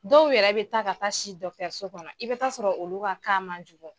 Dɔw yɛrɛ bɛ taa ka taa si dɔkitɛriso kɔnɔ i bɛ taa sɔrɔ olu man jugu.